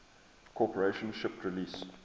corporation shipped release